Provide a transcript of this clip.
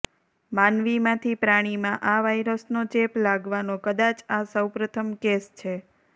માનવીમાંથી પ્રાણીમાં આ વાઈરસનો ચેપ લાગવાનો કદાચ આ સૌ પ્રથમ કેસ છે